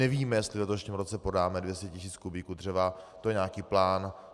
Nevíme, jestli v letošním roce prodáme 200 tisíc kubíků dřeva, to je nějaký plán.